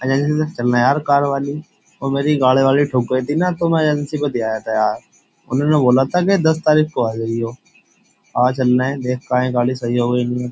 Agency से चलना यार कार वाली वो मेरी गाड़ी वाली ठोक गई थी ना तो मैं एजेंसी को दे आया था यार उन्होंने बोला था कि दस तारीख को आ जाइयो आज चलना है देख काहे गाली सही हो गई।